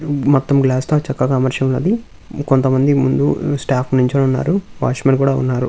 మొత్తం గ్లాస్ తో చక్కగా అమర్చి ఉన్నది. కొంతమంది ముందు స్టాఫ్ నుంచోనీ ఉన్నారు వాచ్మెన్ కూడా ఉన్నారు.